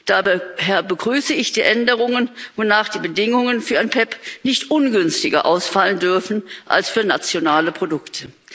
Daher begrüße ich die Änderungen, wonach die Bedingungen für ein PEPP nicht ungünstiger ausfallen dürfen als für nationale Produkte.